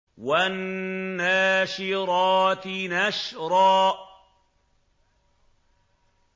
وَالنَّاشِرَاتِ نَشْرًا